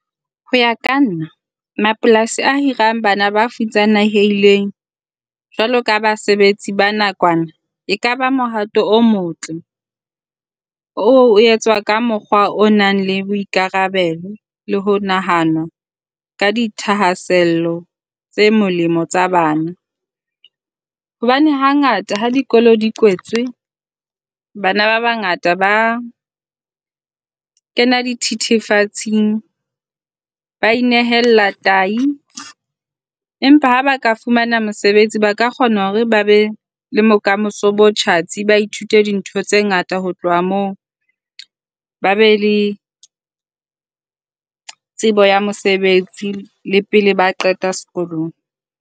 Ho ya ka nna mapolasi a hirang bana ba futsanehileng jwalo ka basebetsi ba nakwana e kaba mohato o motle oo o etswa ka mokgwa o nang le boikarabelo le ho nahanwa ka dithahasello tse molemo tsa bana. Hobane hangata ha dikolo di kwetswe bana ba bangata ba kena dithethefatsing. Ba inehella tahi. Empa ha ba ka fumana mosebetsi ba ka kgona hore ba be le bokamoso bo tjhatsi. Ba ithute dintho tse ngata ho tloha moo ba be le tsebo ya mosebetsi le pele ba qeta sekolong.